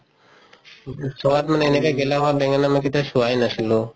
চুৱাত মানে এনেকা গেলা হুৱা বেঙেনা মই কেতিয়াও চুৱাই নাছিলো